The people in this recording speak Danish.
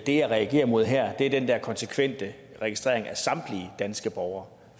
det jeg reagerer imod her er den der konsekvente registrering af samtlige danske borgere